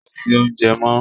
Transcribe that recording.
Kò sí oúnjẹ mọ́